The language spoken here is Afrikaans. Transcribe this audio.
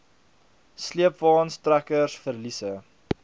sleepwaens trekkers verliese